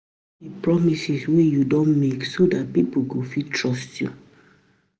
As person wey don break anoda person trust, action go need to get need to get weight pass um word um